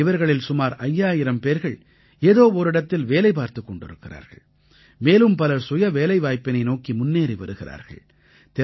இவர்களில் சுமார் 5000 பேர்கள் ஏதோ ஓரிடத்தில் வேலை பார்த்துக் கொண்டிருக்கிறார்கள் மேலும் பலர் சுய வேலைவாய்ப்பினை நோக்கி முன்னேறி வருகிறார்கள்